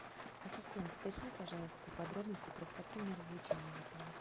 ассистент уточни пожалуйста подробности про спортивные развлечения в отеле